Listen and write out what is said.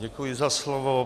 Děkuji za slovo.